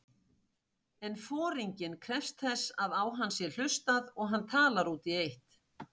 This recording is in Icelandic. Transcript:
En foringinn krefst þess að á hann sé hlustað og hann talar út í eitt.